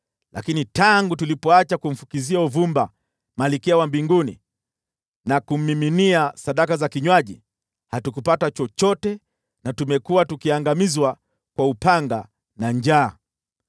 Lakini tangu tulipoacha kumfukizia uvumba Malkia wa Mbinguni na kummiminia sadaka za kinywaji, hatupati chochote, na tumekuwa tukiangamizwa kwa upanga na njaa.”